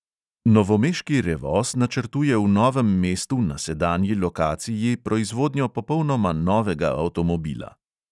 Novomeški revoz načrtuje v novem mestu na sedanji lokaciji proizvodnjo popolnoma novega avtomobila.